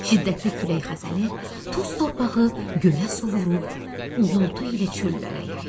Şiddətli külək xəzəli, toz torpağı göyə sovurub uğultu ilə çöllərə yaydı.